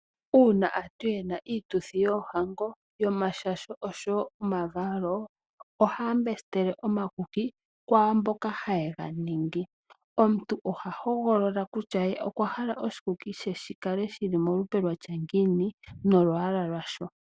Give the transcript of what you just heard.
Uuna aantu yena iituthi yoohango, yomashasho oshowo omavalo ohaya mbesitele omakuki kwaamboka haye ga ningi. Omuntu oha hogolola kutya okwa hala oshikuki she shikale shili molupe lwatya ngiini nolwaala lwasho.